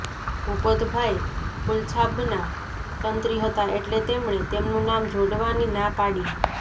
ભૂપતભાઈ ફૂલછાબના તંત્રી હતા એટલે તેમણે તેમનું નામ જોડવાની ના પાડી